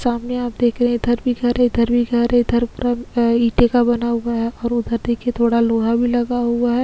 सामने आप देख रहे इधर भी घर है इधर भी घर है इधर पूरा अ इटे का बना हुआ है और उधर देखिये थोडा लोहा भी लगा हुआ है।